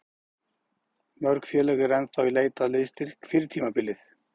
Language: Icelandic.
Mörg félög eru ennþá í leit að liðsstyrk fyrir tímabilið.